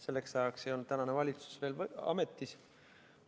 Selleks ajaks ei olnud tänane valitsus veel ametis.